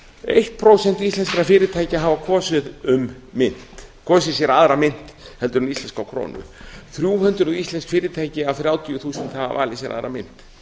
eitt prósent íslenskra fyrirtækja hafa kosið sér aðra mynt en íslenska krónu þrjú hundruð íslensk fyrirtæki af þrjátíu þúsund hafa valið sér að